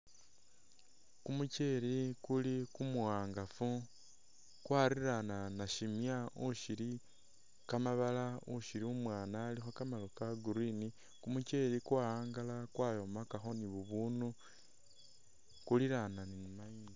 Kumucheli kuli kumuwangafu kwariiranya nasimya ushili kamabala ushili umwana alikho kamaru ka'green kumucheli kwa'angala kwayomakakho ni bubunu kulilanya